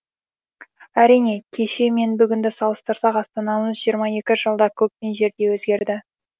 әрине кеше мен бүгінді салыстырсақ астанамыз жиырма екі жылда көк пен жердей өзгерді